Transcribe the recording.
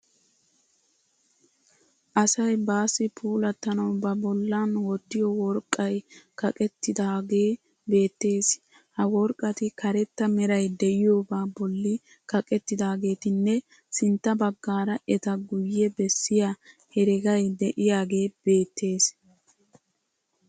Asay baassi puulatanawu ba bollan wottiyo worqqay kaqettidaage beettees. Ha woriqqati karetta merayi de'iyoba bolli kaqettidaageetinne sintta baggaara eta guye bessiya heregayi de'iyagee beettes.